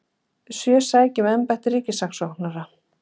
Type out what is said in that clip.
Sjö sækja um embætti ríkissaksóknara